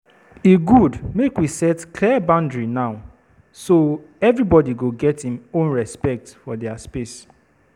E dey good make we set clear boundary now, so everybody go get im own respect for dier space.